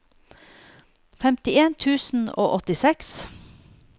femtien tusen og åttiseks